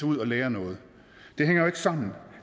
ud og lære noget det hænger jo ikke sammen